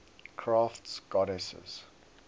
crafts goddesses